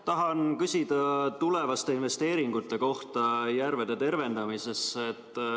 Tahan küsida tulevaste investeeringute kohta järvede tervendamisel.